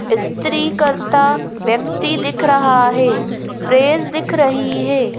स्त्री करता व्यक्ति दिख रहा है प्रेस दिख रही है।